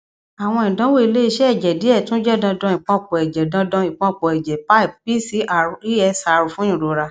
awọn idanwo ile-iṣẹ ẹjẹ diẹ tun jẹ dandan ipọnpọ ẹjẹ dandan ipọnpọ ẹjẹ pipe pcr esr fun irora